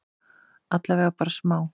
Allavega bara smá?